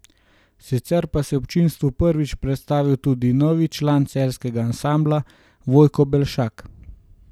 Sicer pa se je občinstvu prvič predstavil tudi novi član celjskega ansambla Vojko Belšak.